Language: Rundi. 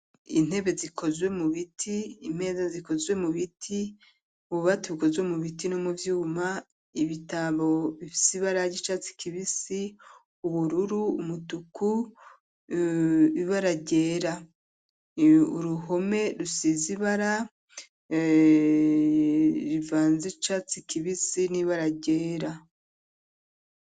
Intebe zikozwe mubiti imeza zikozwe mu biti ububati bikozwe mu biti no mu vyuma ibitabo bifise ibara ry'icatsi kibisi, ubururu, umutuku, ibara ryera uruhome rusize ibara rivanze icatsi kibisi n'ibara ryera.